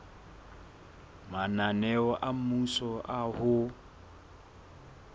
mananeo a mmuso a ho